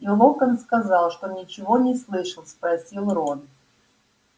и локонс сказал что ничего не слышал спросил рон